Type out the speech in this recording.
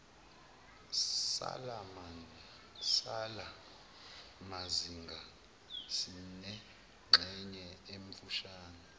salamazinga sinengxenye emfushane